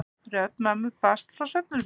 Rödd mömmu barst frá svefnherberginu.